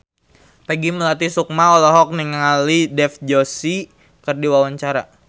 Peggy Melati Sukma olohok ningali Dev Joshi keur diwawancara